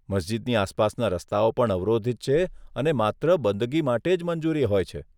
મસ્જિદની આસપાસના રસ્તાઓ પણ અવરોધિત છે અને માત્ર બંદગી માટે જ મંજૂરી હોય છે.